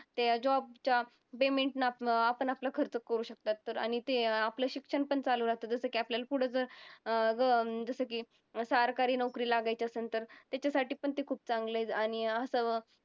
ते job च्या आपण आपला खर्च करू शकतात. तर आणि ते आपलं शिक्षण पण चालू राहतं जसं की आपल्याला पुढचं अं जसं की सरकारी नोकरी लागायची असन तर तेच्यासाठी पण ते खूप चांगले आणि असं